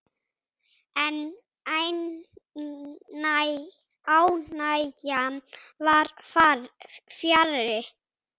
En ánægjan var fjarri.